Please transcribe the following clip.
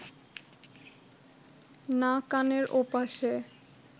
না কানের ওপাশে